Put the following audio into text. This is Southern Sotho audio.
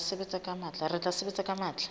re tla sebetsa ka matla